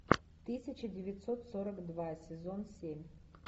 тысяча девятьсот сорок два сезон семь